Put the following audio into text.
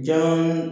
Jan